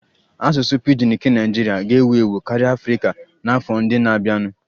Asụsụ pidgin nke Naijiria ga-ewu ewu karịa Afrika n'afọ ndị na-abịanụ